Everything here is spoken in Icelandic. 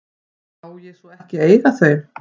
Má ég svo ekki eiga þau?